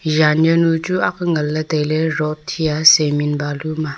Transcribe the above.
jan jaonu chu ak ngan le taile rot hia siman balu am a.